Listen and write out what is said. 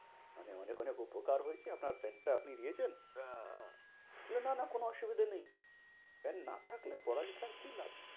মানে অনেক অনেক উপকার হয়েছে আপনার পেন টা আপনি দিয়েছিলেন। বললো না না কোনো অসুবিধা নেই। পেন না থাকলে পড়ালেখার কি লাভ?